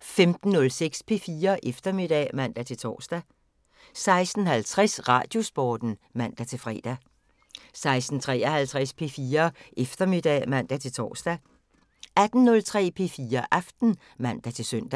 15:06: P4 Eftermiddag (man-tor) 16:50: Radiosporten (man-fre) 16:53: P4 Eftermiddag (man-tor) 18:03: P4 Aften (man-søn)